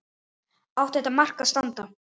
Átti þetta mark að standa?